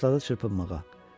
Başladı çırpınmağa.